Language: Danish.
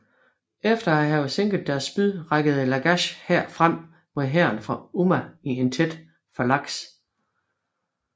Efter at have sænket deres spyd rykkede Lagash hær frem mod hæren fra Umma i en tæt falanks